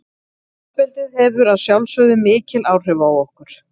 Uppeldið hefur að sjálfsögðu mikil áhrif á okkur.